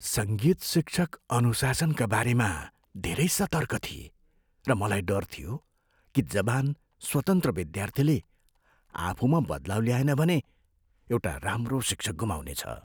सङ्गीत शिक्षक अनुशासनका बारेमा धेरै सतर्क थिए, र मलाई डर थियो कि जवान स्वतन्त्र विद्यार्थीले आफूमा बदलाउ ल्याएन भने एउटा राम्रो शिक्षक गुमाउनेछ।